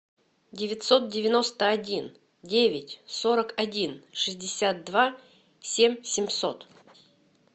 девятьсот девяносто один девять сорок один шестьдесят два семь семьсот